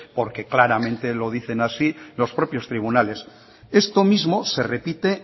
porque claramente lo dicen así los propios tribunales esto mismo se repite